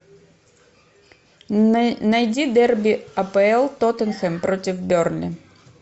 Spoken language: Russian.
найди дерби апл тоттенхэм против бернли